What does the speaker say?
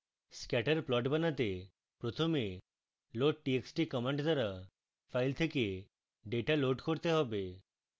scatter plot বানাতে প্রথমে loadtxt command দ্বারা file থেকে ডেটা load করতে হবে